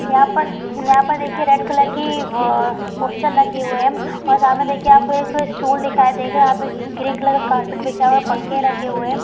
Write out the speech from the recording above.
यहाँ पर यहाँ पर एक रेड कलर की पोस्टर लगी हुई है और सामने देखिए आपको एक स्टूल दिखाई देगा ग्रीन कलर की कारपेट बिछा हुआ है पंखे लगे हुए है ।